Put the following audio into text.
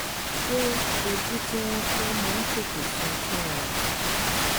ṣé ojú tí wọ́n fọ́ máa ń tètè sàn fúnra rẹ̀?